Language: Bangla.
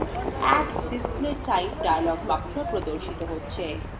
add display type dialog box প্রদর্শিত হচ্ছে